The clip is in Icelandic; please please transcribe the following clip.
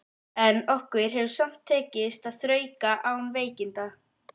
En okkur hefur samt tekist að þrauka án veikinda.